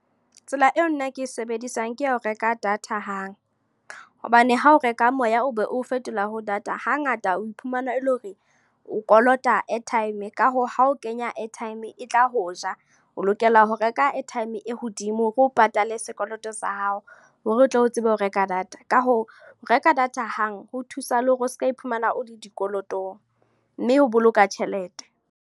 Tsela eo nna ke e sebedisang. Ke ya ho reka data hang. Hobane ha o reka moya o be o fetolela ho data, hangata o iphumana ele hore o kolota airtime. Ka hoo, ha o kenya airtime e tla ho ja. O lokela ho reka airtime e hodimo hore o patale sekoloto sa hao. Hore o tle o tsebe ho reka data. Ka hoo, ho reka data hang, ho thusa le hore o seka iphumana o le dikolotong. Mme ho boloka tjhelete.